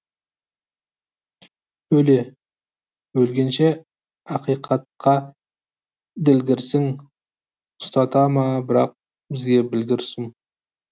өле өлгенше ақиқатқа ділгірсің ұстата ма бірақ бізге білгір сұм